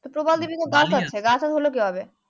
তা প্রবাল দ্বীপ তো গাছ আছে কিভাবে